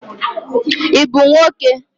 I bụ nwoke?